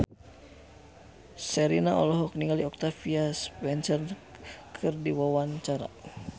Sherina olohok ningali Octavia Spencer keur diwawancara